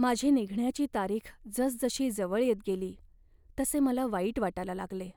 माझी निघण्याची तारीख जसजशी जवळ येत गेली तसे मला वाईट वाटायला लागले